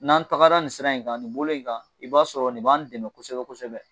N'an tagara nin siran in kan nin bolo in kan i b'a sɔrɔ nin b'an dɛmɛ kosɛbɛ kosɛbɛ